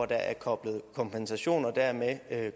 der er koblet kompensation og dermed